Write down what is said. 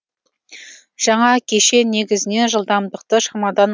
жаңа кешен негізінен жылдамдықты шамадан